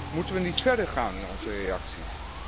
Moeten we niet verder gaan in onze reacties?